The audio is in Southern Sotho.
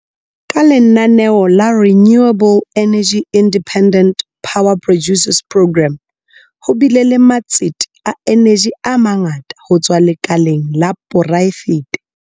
Ka lenaneo la Renewable Energy Independent Power Producers Programme, ho bile le matsete a eneji a mangata ho tswa lekaleng la poraefete.